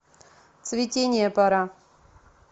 цветения пора